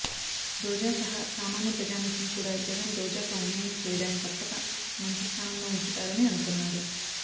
రోజా సహా సామాన్య ప్రజానీకం కూడా జగన్ రోజాకు అన్యాయం చెయ్యడని తప్పక మంచి స్థానంలో ఉంచుతారని అనుకున్నారు